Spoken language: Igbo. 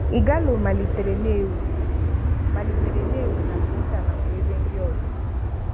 Ighalo malitere na-éwu malitere na-éwu na Twitter nakwa ebe ndị ọzọ.